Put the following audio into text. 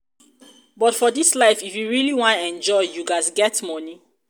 but for dis life if you really wan enjoy you ghas get money.